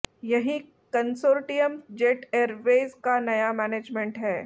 यही consortium Jet Airways का नया मैनेजमेंट है